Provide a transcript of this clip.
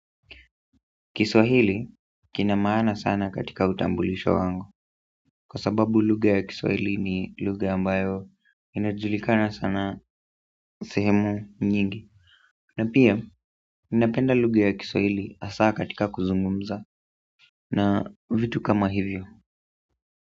Kiswahili kina maana sana katika utambulisho wangu kwasababu lugha ya kiswahili ni lugha ambayo inajulikana sana sehemu nyingi na pia ninapenda lugha ya kiswahili hasa katika kuzungumza na vitu kama hivyo.